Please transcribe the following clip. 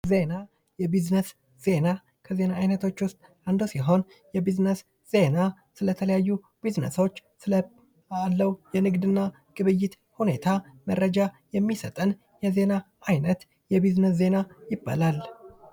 ዜና የቢዝነስ ዜና ከዜና አይነቶች ውስጥ አንዱ ሲሆን የቢዝነስ ዜና የተለያዩ ቢዝነሶች ስላለው የንግድና ግብይት ሁኔታ መረጃ የሚሰጠን የዜና አይነት የቢዝነስ ዜና ይባላል።